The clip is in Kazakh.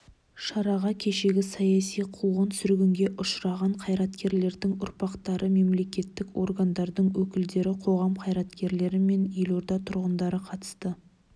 шараға кешегі саяси қуғын-сүргінге ұшыраған қайраткерлердің ұрпақтары мемлекеттік органдардың өкілдері қоғам қайраткерлері мен елорда тұрғындары қатысты